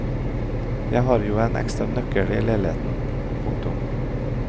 Jeg har jo en ekstra nøkkel i leiligheten. punktum